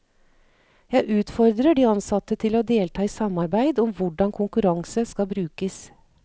Jeg utfordrer de ansatte til å delta i samarbeid om hvordan konkurranse skal brukes.